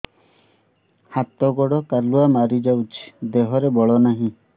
ହାତ ଗୋଡ଼ କାଲୁଆ ମାରି ଯାଉଛି ଦେହରେ ବଳ ନାହିଁ